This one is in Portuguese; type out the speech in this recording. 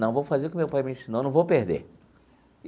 Não, vou fazer o que meu pai me ensinou, não vou perder.